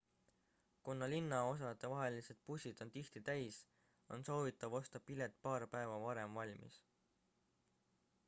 kuna linnaosadevahelised bussid on tihti täis on soovitav osta pilet paar päeva varem valmis